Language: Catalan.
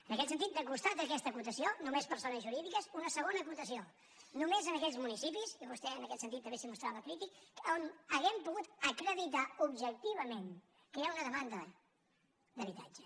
en aquest sentit de costat a aquesta acotació només persones jurídiques una segona acotació només en aquells municipis i vostè en aquest sentit també s’hi mostrava crític on hàgim pogut acreditar objectivament que hi ha una demanda d’habitatge